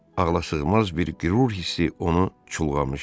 Ağlasığmaz bir qürur hissi onu çulğamışdı.